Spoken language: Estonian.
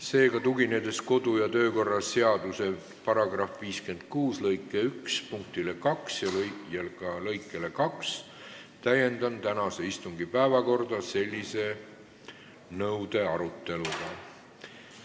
Seega, tuginedes kodu- ja töökorra seaduse § 56 lõike 1 punktile 2 ja lõikele 2, täiendan tänase istungi päevakorda selle nõude aruteluga.